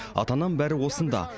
ата анам бәрі осында